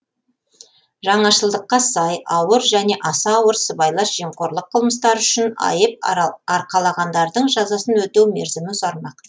жаңашылдыққа сай ауыр және аса ауыр сыбайлас жемқорлық қылмыстары үшін айып арқалағандардың жазасын өтеу мерзімі ұзармақ